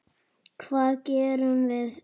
Hvað gerðum við?